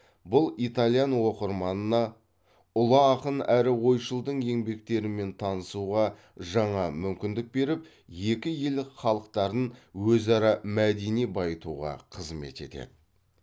бұл итальян оқырманына ұлы ақын әрі ойшылдың еңбектерімен танысуға жаңа мүмкіндік беріп екі ел халықтарын өзара мәдени байытуға қызмет етеді